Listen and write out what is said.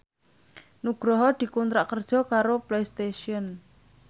Nugroho dikontrak kerja karo Playstation